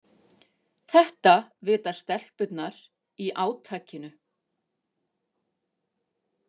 Þetta vita stelpurnar í átakinu